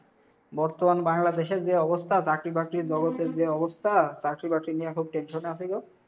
বর্তমান বাংলাদেশের যে অবস্থা, চাকরি বাকরির জগতের যে অবস্থা, চাকরি বাকরি নিয়ে এখন tension এ আসি গো।